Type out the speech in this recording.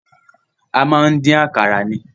A máa ń dín àkàrà ni.